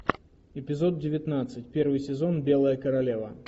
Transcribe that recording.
эпизод девятнадцать первый сезон белая королева